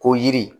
Ko yiri